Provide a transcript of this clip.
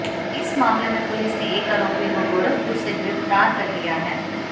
इस मामले में पुलिस ने एक आरोपी को गोरखपुर से गिरफ्तार कर लिया है